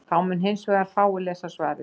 þá mundu hins vegar fáir lesa svarið